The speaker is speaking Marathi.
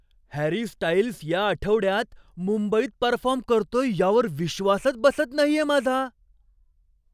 हॅरी स्टाइल्स या आठवड्यात मुंबईत परफॉर्म करतोय यावर विश्वासच बसत नाहीये माझा.